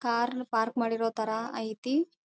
Car park ಮಾಡಿರೋ ಥರ ಐತಿ.